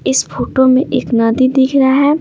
इस फोटो में एक नदी दिख रहा है।